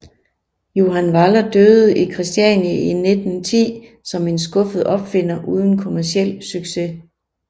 Johan Vaaler døde i Kristiania i 1910 som en skuffet opfinder uden kommerciel succes